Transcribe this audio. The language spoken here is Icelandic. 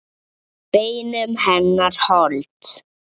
Beinum hennar hold.